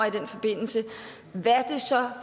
i den forbindelse hvad det så